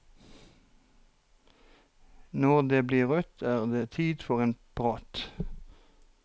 Når det blir rødt er det tid for prat.